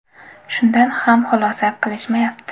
Shundan ham xulosa qilishmayapti.